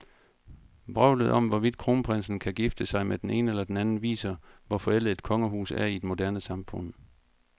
Vrøvlet om, hvorvidt kronprinsen kan gifte sig med den ene eller den anden, viser, hvor forældet et kongehus er i et moderne samfund.